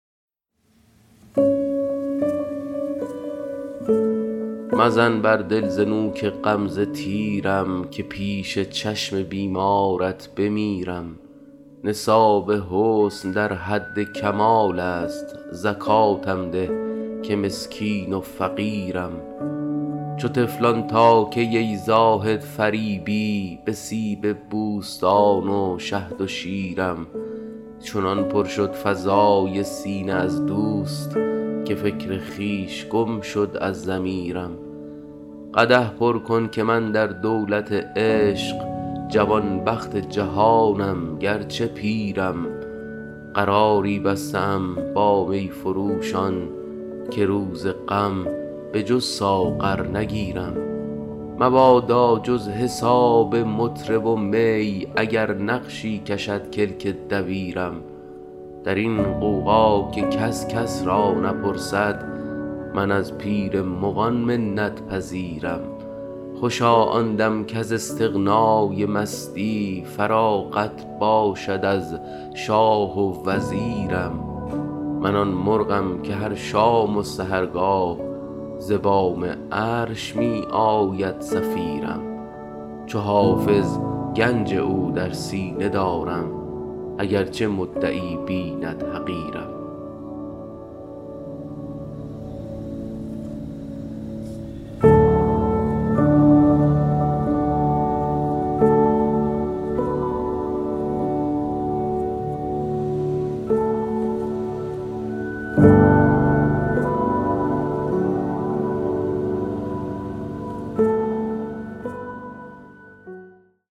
مزن بر دل ز نوک غمزه تیرم که پیش چشم بیمارت بمیرم نصاب حسن در حد کمال است زکاتم ده که مسکین و فقیرم چو طفلان تا کی ای زاهد فریبی به سیب بوستان و شهد و شیرم چنان پر شد فضای سینه از دوست که فکر خویش گم شد از ضمیرم قدح پر کن که من در دولت عشق جوانبخت جهانم گرچه پیرم قراری بسته ام با می فروشان که روز غم به جز ساغر نگیرم مبادا جز حساب مطرب و می اگر نقشی کشد کلک دبیرم در این غوغا که کس کس را نپرسد من از پیر مغان منت پذیرم خوشا آن دم کز استغنای مستی فراغت باشد از شاه و وزیرم من آن مرغم که هر شام و سحرگاه ز بام عرش می آید صفیرم چو حافظ گنج او در سینه دارم اگرچه مدعی بیند حقیرم